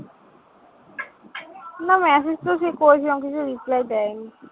না না message তো সে করেছিলাম কিছু reply দেয় নি।